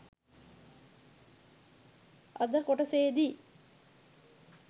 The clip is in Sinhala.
අද‍ කොටසේදි